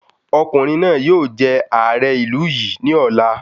Ọkùnrin náà yóò jẹ ààrẹ ìlú yìí ní ọ̀la